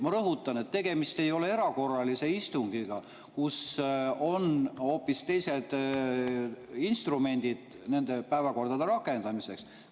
Ma rõhutan, et tegemist ei ole erakorralise istungiga, kus on hoopis teised instrumendid päevakorra rakendamiseks.